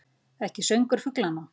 Ekki söngur fuglanna.